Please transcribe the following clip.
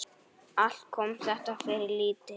Allt kom þetta fyrir lítið.